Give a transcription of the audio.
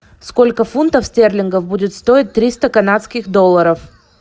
сколько фунтов стерлингов будет стоить триста канадских долларов